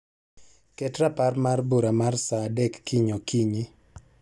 Ket rapar mar bura mar saa adek kiny okinyi